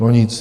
No nic.